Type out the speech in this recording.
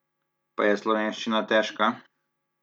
Pa je slovenščina težka?